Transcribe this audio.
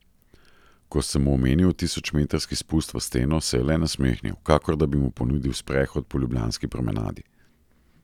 Ko sem mu omenil tisočmetrski spust v steno, se je le nasmehnil, kakor da bi mu ponudil sprehod po ljubljanski promenadi.